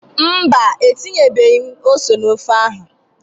Mba, etinyebeghị m ose na ofe ahụ.